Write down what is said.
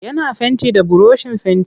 Yana fenti da burushin fenti.